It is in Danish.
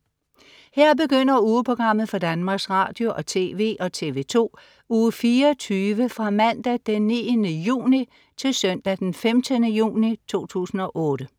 Her begynder ugeprogrammet for Danmarks Radio- og TV og TV2 Uge 24 Fra Mandag den 9. juni 2008 Til Søndag den 15. juni 2008